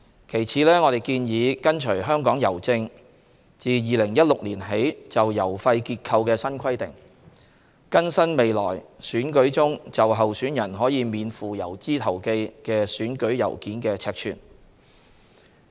其次，我們建議跟隨香港郵政自2016年起就郵費結構的新規定，更新未來選舉中就候選人可免付郵資投寄的選舉郵件的尺寸。